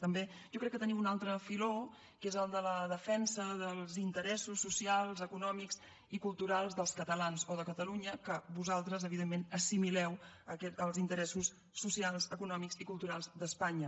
també jo crec que teniu un altre filó que és el de la defensa dels interessos socials econòmics i culturals dels catalans o de catalunya que vosaltres evidentment assimileu als interessos socials econòmics i culturals d’espanya